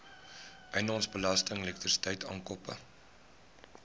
eiendomsbelasting elektrisiteit aankope